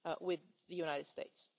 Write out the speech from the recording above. with the United States.